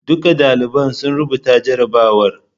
Duka daliban sun rubuta jarrabawar.